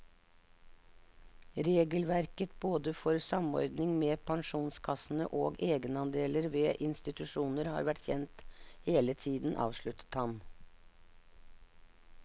Regelverket både for samordning med pensjonskassene og egenandeler ved institusjoner har vært kjent hele tiden, avsluttet han.